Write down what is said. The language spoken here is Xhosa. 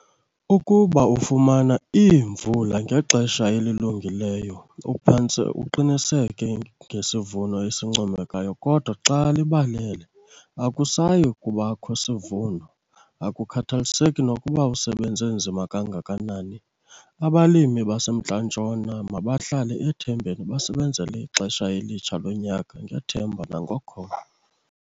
Ukuba ufumana iimvula ngexesha elilungileyo, uphantse uqiniseke ngesivuno esincomekayo, kodwa xa libalele, akusayi kubakho sivuno - akukhathaliseki nokuba usebenze nzima kangakanani. Abalimi baseMntla-Ntshona mabahlale ethembeni basebenzele ixesha elitsha lonyaka - ngethemba nangokholo.